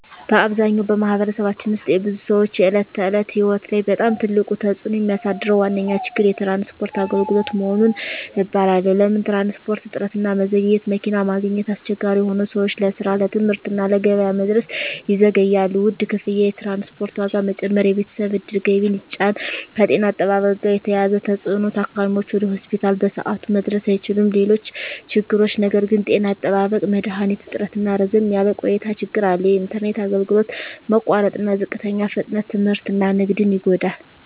በአብዛኛው በማኅበረሰባችን ውስጥ የብዙ ሰዎች የዕለት ተዕለት ሕይወት ላይ በጣም ትልቅ ተፅዕኖ የሚያሳድረው ዋነኛ ችግር የትራንስፖርት አገልግሎት መሆኑን እባላለሁ። ለምን ትራንስፖርት? እጥረትና መዘግየት መኪና ማግኘት አስቸጋሪ ሆኖ ሰዎች ለስራ፣ ለትምህርት እና ለገበያ መድረስ ይዘገያሉ። ውድ ክፍያ የትራንስፖርት ዋጋ መጨመር የቤተሰብ ዕድል ገቢን ይጫን። ከጤና አጠባበቅ ጋር የተያያዘ ተፅዕኖ ታካሚዎች ወደ ሆስፒታል በሰዓቱ መድረስ አይችሉም። ሌሎች ችግሮች ነገር ግን… ጤና አጠባበቅ መድሀኒት እጥረትና ረዘም ያለ ቆይታ ችግር አለ። የኢንተርኔት አገልግሎት መቋረጥና ዝቅተኛ ፍጥነት ትምህርትና ንግድን ይጎዳል።